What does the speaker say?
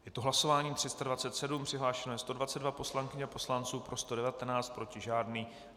Je to hlasování 327, přihlášeno je 122 poslankyň a poslanců, pro 119, proti žádný.